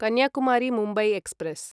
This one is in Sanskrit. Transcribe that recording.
कन्याकुमारी मुम्बय् एक्स्प्रेस्